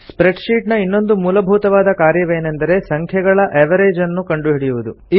spread sheet ನ ಇನ್ನೊಂದು ಮೂಲಭೂತವಾದ ಕಾರ್ಯವೇನೆಂದರೆ ಸಂಖ್ಯೆಗಳ ಅವೆರೇಜ್ ನ್ನು ಕಂಡುಹಿಡಿಯುವುದು